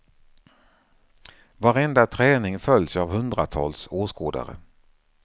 Varenda träning följs av hundratals åskådare.